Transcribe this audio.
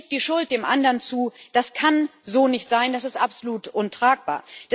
Jeder schiebt die Schuld dem anderen zu Das kann so nicht sein, das ist absolut untragbar.